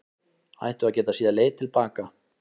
Ættu að geta séð leið til baka